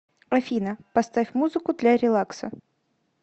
афина поставь музыку для релакса